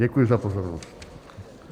Děkuji za pozornost.